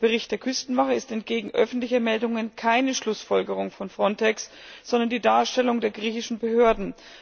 Der Bericht der Küstenwache ist entgegen öffentlicher Meldungen keine Schlussfolgerung von Frontex, sondern die Darstellung der griechischen Behörden.